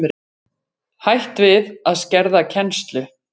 Hætt við að skerða kennslu